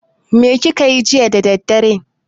Me kake yi jiya da daddare?